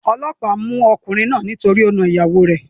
Olóòpá mú okùnrin náà nítorí o na ìyàwo rè